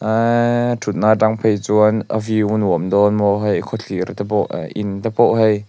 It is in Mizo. ee thutna atang phei chuan a view a nuam dawn maw hei khawthlir te pawh eh in te pawh hei.